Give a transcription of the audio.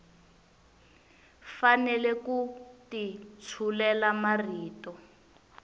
fanele ku ti tshulela marito